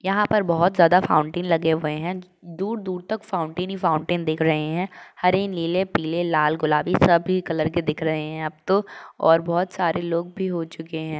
यहाँ पर बहुत ज्यादा फाउंटेन लगे हुए हैं दूर दूर तक फाउंटेन ही फाउंटेन दिख रहे हैं हरे नीले पीले लाल गुलाबी सभी कलर के दिख रहे हैं अब तो और बहोत सारे लोग भी हो चुके हैं।